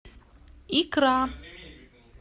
икра